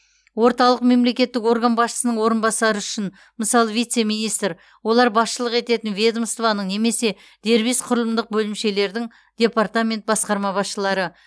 орталық мемлекеттік орган басшысының орынбасары үшін мысалы вице министр олар басшылық ететін ведомствоның немесе дербес құрылымдық бөлімшелердің департамент басқарма басшылары